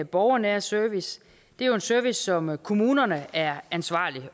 borgernære service det er en service som kommunerne er ansvarlige